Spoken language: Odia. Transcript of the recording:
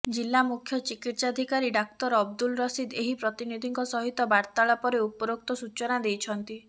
ଜିଲା ମୁଖ୍ୟ ଚିକିତ୍ସାଧିକାରୀ ଡାକ୍ତର ଅବଦୁଲ ରସିଦ ଏହି ପ୍ରତନିଧିଙ୍କ ସହିତ ବାର୍ତ୍ତାଳାପରେ ଉପରୋକ୍ତ ସୂଚନା ଦେଇଛନ୍ତି